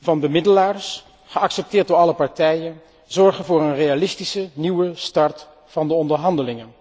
van bemiddelaars, geaccepteerd door alle partijen, zorgen voor een realistische nieuwe start van de onderhandelingen.